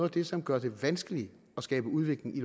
det som gør det vanskeligt at skabe udvikling i